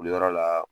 Wuliyɔrɔ la